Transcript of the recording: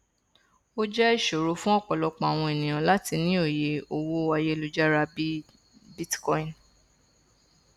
ó jẹ ìṣòro fún ọpọlọpọ àwọn ènìyàn láti ní òye owó ayélujára bí i bitcoin